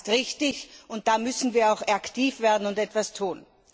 Das ist richtig, und da müssen wir auch aktiv werden und etwas tun.